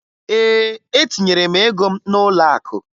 Ee, etinyere m ego m n'ụlọakụ